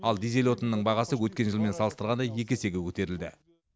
ал дизель отынның бағасы өткен жылмен салыстырғанда екі есеге көтерілді